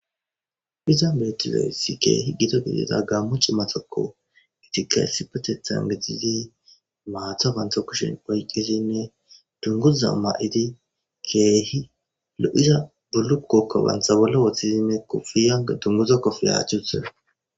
Ophiza metiloesi keehi gito gidida gammu cimatokko gitika essipatetha n getizi maatha wantha kushin oyqizinne dunguza ma''idi keehi lo''iza bullukokko wantha wolo woththizinne kofiyana dunguza kofe haachuthe.